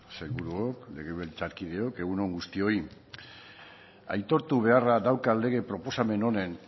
sailburuok legebiltzarkideok egun on guztioi aitortu beharra daukat lege proposamen honen